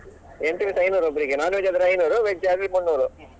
Entry fees ಐನೂರು ಒಬ್ಬರಿಗೆ non-veg ಆದ್ರೆ ಐನೂರು veg ಆದ್ರೆ ಮುನ್ನೂರು.